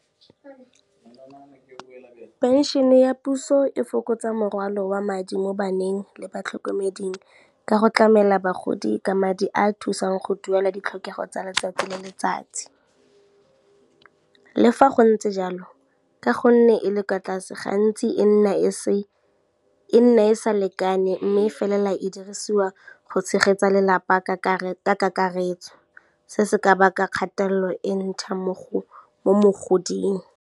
Pension-e ya puso e fokotsa morwalo wa madi mo baneng le batlhokomeding ka go tlamela bagodi ka madi a a thusang go duela ditlhokego tsa letsatsi le letsatsi. Le fa go ntse jalo, ka gonne e le kwa tlase gantsi e nna e sa lekane mme e felela e dirisiwa go tshegetsa lelapa ka kakaretso, se se ka baka kgatelelo e ntšha mo mogoding.